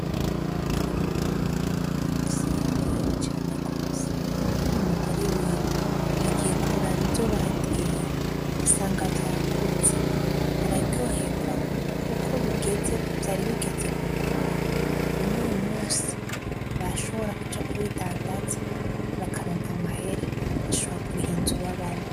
Bigirimana uyu munsi yaryohewe cane gose, be n'umugore wiwe bagiye kuraba ivyo bateye basanga vyakuze bararyoherwa kuko bigeze vyari bigeze gukura none uyu munsi bashobora kuja kubidandaza bakaronka amahera bagashobora kuriha inzu babamwo.